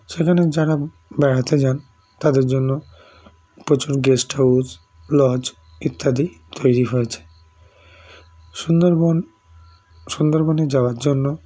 সেখানে যারা বেড়াতে যান তাদের জন্য প্রচুর guest house Lodge ইত্যাদি তৈরি হয়েছে সুন্দরবন সুন্দরবনে যাওয়ার জন্য